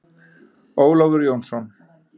Ólafur Jónsson.